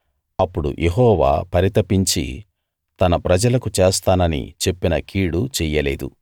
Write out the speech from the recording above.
అప్పుడు యెహోవా పరితపించి తన ప్రజలకు చేస్తానని చెప్పిన కీడు చెయ్యలేదు